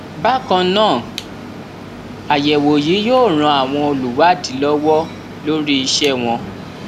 bákan náà àyẹwò yìí yóò ran àwọn olùwádìí lọwọ lórí iṣẹ wọn